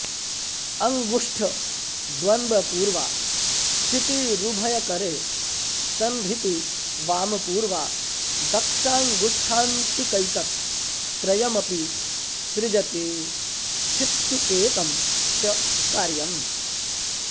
अङ्गुष्ठद्वन्द्वपूर्वा स्थितिरुभयकरे संहृतिवामपूर्वा दक्षाङ्गुष्ठान्तिकैतत् त्रयमपि सृजति स्थित्युपेतं च कार्यम्